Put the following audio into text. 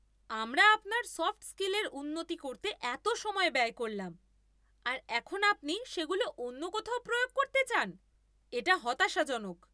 আমরা আপনার সফ্ট স্কিলের উন্নতি করতে এত সময় ব্যয় করলাম, আর এখন আপনি সেগুলো অন্য কোথাও প্রয়োগ করতে চান? এটা হতাশাজনক।